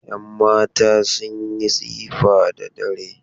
Yanmata sun yi tsifa da dare.